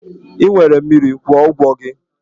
Ị nwere mmiri, kwụọ ụgwọ gị!